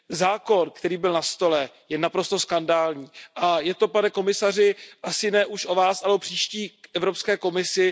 Zákon, který byl nastolen, je naprosto skandální, a je to pane komisaři asi ne už o Vás, ale o příští Evropské komisi.